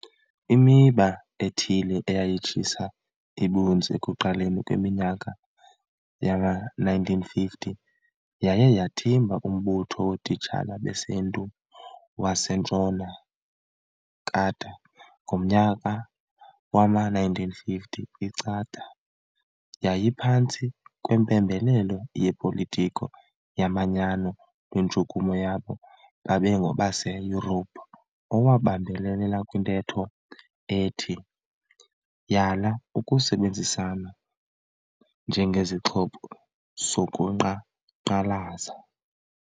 Imiba ethile eyayitshisa ibunzi ekuqaleni kweminyaka yama-1950, yaye yathimba umbutho wotitshala besiNtu waseNtshona CATA. Ngomnyaka wama-1950 ICATA yayiphantsi kwempembelelo yepolitiki yomanyano lwentshukumo yabo babengengobase Yurophu, owabambelela kwintetho ethi. Yala ukusebenzisana njengesixhobo sokuqhankqalaza.